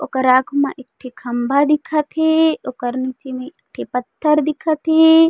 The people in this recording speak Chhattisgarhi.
ओकर आँख मा एकठो खम्भा दिखत हे ओकर नीचे में एक ठी पत्थर दिखत हे।